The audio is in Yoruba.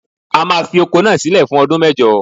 A máa fi oko náà sílẹ̀ fún ọdún mẹ́jọ.